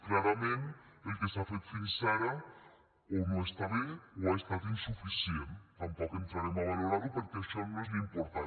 clarament el que s’ha fet fins ara o no està bé o ha estat insuficient tampoc entrarem a valorar ho perquè això no és l’important